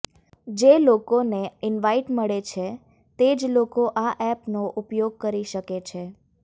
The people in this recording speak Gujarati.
જે લોકોને ઇન્વાઇટ મળે છે તે જ લોકો આ ઍપનો ઉપયોગ કરી શકે છે